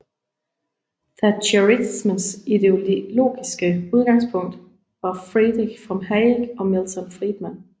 Thatcherismens ideologiske udgangspunkt var Friedrich von Hayek og Milton Friedman